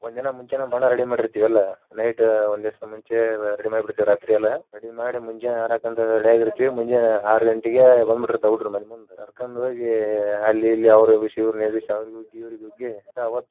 ಒಂದಿನಾ ಮುಂಚೆನ ಬಣ್ಣ ready ಮಾಡಿರ್ತಿವಿ ಎಲ್ಲಾ night ಒಂದಿಸಾ ಮುಂಚೆ ರಾತ್ರಿಯೆಲ್ಲಾ ready ಮಾಡಿ ಮುಂಜಾನೆ ಆಡಾಕ ready ಆಗಿರ್ತೇವಿ ಮುಂಜಾನೆ ಆರ ಗಂಟಿಗೆ ಬಂದ ಬಿಟ್ಟಿರ್ತಾವ ಹುಡಗೂರ ಮನೀ ಮುಂದ ಕರ್ಕೊಂಡ ಹೋಗಿ ಅಲ್ಲಿ ಇಲ್ಲಿ ಅವ್ರಿಗೆ ಎಬ್ಸಿ ಇವ್ರಿಗೇ ಎಬ್ಸಿ ಅವರಿಗೆ ಉಗ್ಗಿ ಇವ್ರಿಗ್ ಉಗ್ಗಿ.